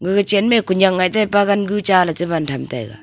aga chanma ku nyak ngai taipa gan gu chala ban tham taga.